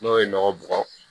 N'o ye nɔgɔ bɔgɔ